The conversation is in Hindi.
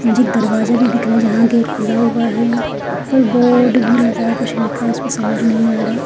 मुझे एक दरवाजा भी दिख रहा है जहाँ गेट खुला हुआ है ऊपर बोर्ड